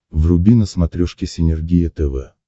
вруби на смотрешке синергия тв